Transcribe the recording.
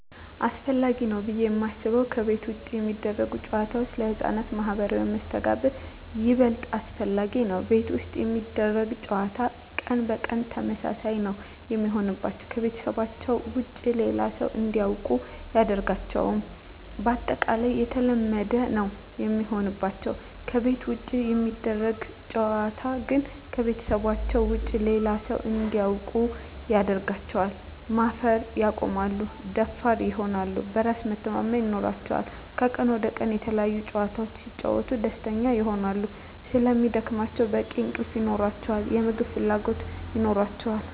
አሰፈላጊ ነው ብዬ የማስበው ከቤት ውጭ የሚደረጉ ጨዋታዎች ለህፃናት ማህበራዊ መስተጋብር ይበልጥ አስፈላጊ ነው። ቤት ውስጥ የሚደረግ ጨዋታ ቀን በቀን ተመሳሳይ ነው የሚሆንባቸው , ከቤተሰባቸው ውጭ ሌላ ሰው እንዲያውቁ አያደርጋቸውም ባጠቃላይ የተለመደ ነው የሚሆንባቸው። ከቤት ውጭ የሚደረግ ጨዋታ ግን ከቤተሰባቸው ውጭ ሌላ ሰው እንዲያውቁ ያደርጋቸዋል, ማፈር ያቆማሉ, ደፋር ይሆናሉ, በራስ መተማመን ይኖራቸዋል," ከቀን ወደ ቀን የተለያዪ ጨዋታዎች ሲጫወቱ ደስተኛ ይሆናሉ ስለሚደክማቸው በቂ እንቅልፍ ይኖራቸዋል, የምግብ ፍላጎት ይኖራቸዋል።